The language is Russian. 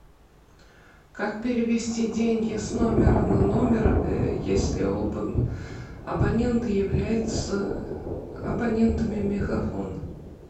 как перевести деньги с номера на номер если оба абонента являются абонентами мегафон